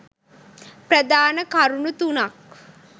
ප්‍රධාන කරුණු තුනක්